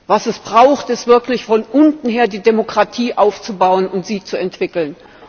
Was es braucht, ist, wirklich von unten her die Demokratie aufzubauen und sie zu entwickeln.